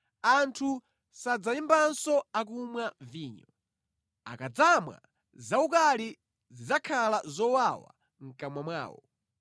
Anthu sadzayimbanso akumwa vinyo; akadzamwa zaukali zidzakhala zowawa mʼkamwa mwawo.